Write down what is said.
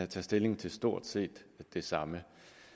tage stilling til stort set det samme